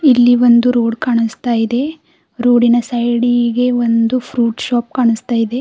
ಇಲ್ಲಿ ಒಂದು ರೋಡ್ ಕಾಣಿಸ್ತಾ ಇದೆ ರೋಡಿ ನ ಸೈಡಿ ಗೆ ಒಂದು ಫ್ರೂಟ್ ಶಾಪ್ ಕಾಣಿಸ್ತಾ ಇದೆ.